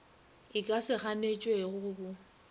e ka se ganetšwego bo